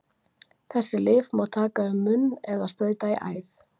Þessi lyf má taka um munn eða sprauta í æð.